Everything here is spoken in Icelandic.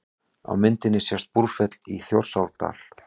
Á myndinni sést Búrfell í Þjórsárdal.